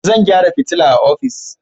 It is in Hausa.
Zan gyara fitila a ofis.